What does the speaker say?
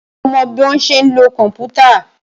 Ṣé o mọ bọ́ ṣe ń lo kòmpútà?